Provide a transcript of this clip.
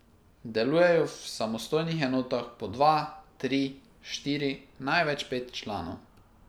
Delujejo v samostojnih enotah po dva, tri, štiri, največ pet članov.